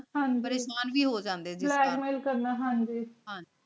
ਹਾਂਜੀ ਹਾਂਜੀ